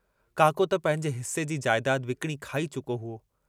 काको त पंहिंजे हिस्से जी जायदाद विकणी खाई चुको हुओ।